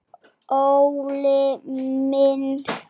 ÓLI MINN.